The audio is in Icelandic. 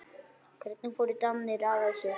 Hvernig fóru Danir að þessu?